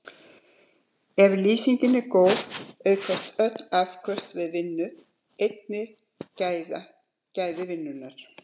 Ef lýsingin er góð aukast öll afköst við vinnu, einnig gæði vinnunnar.